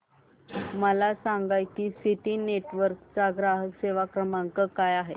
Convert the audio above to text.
मला सांगा की सिटी नेटवर्क्स चा ग्राहक सेवा क्रमांक काय आहे